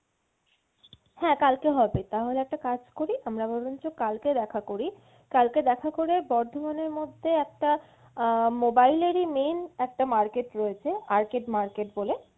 হ্যাঁ কালকে হবে তাহলে একটা কাজ করি আমরা বরঞ্চ কালকে দেখা করি, কালকে দেখা করে বর্ধমানের মধ্যে একটা আহ mobile এরই main একটা market রয়েছে arcade market বলে,